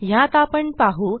ह्यात आपण पाहू